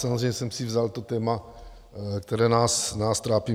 Samozřejmě jsem si vzal to téma, které nás trápí.